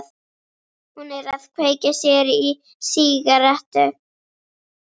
Hún er að kveikja sér í sígarettu.